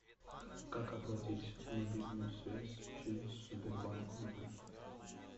как оплатить мобильную связь через сбербанк онлайн